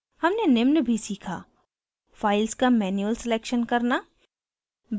हमने निम्न भी सीखा: files का manual selection करना